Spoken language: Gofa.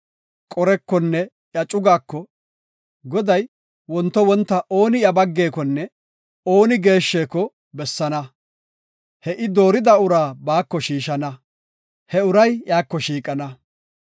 Qorekonne iya cugaako, “Goday wonto wonta ooni iya baggekonne ooni geeshsheko bessana; he I doorida uraa baako shiishana; he uray iyako shiiqana.